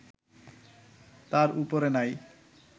তার উপরে নাই